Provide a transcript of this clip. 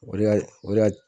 O de y'a, o de ya.